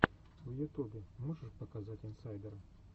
в ютубе можешь показать инсайдера